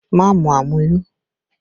Má mu àmuyó!